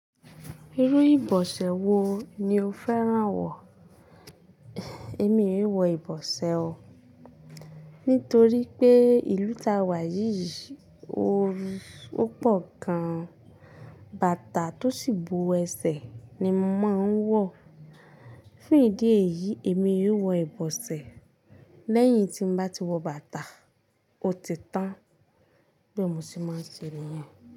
Irú ìbọ̀sẹ̀ wo ni o fẹ́ràn wọ̀? Èmi oo wọ ìbọ̀sẹ̀ o, nítorí pé ìlú tá wà yìí òru ó pọ̀ gan. Bàtà tó sì bu ẹsẹ̀ ni mo máa ń wọ̀. Fún ìdí èyí, èmi yóò wọ ìbọ̀sẹ̀ lẹ́yìn tí mo bá ti wọ bàtà ó ti tán. Bí mo ṣe máa ń ṣe rí.